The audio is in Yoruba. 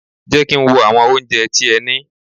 Jẹ́ kí n wo àwọn oúnjẹ tí ẹ ní!